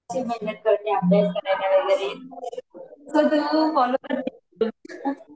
करून अभ्यास करायचं वगैरे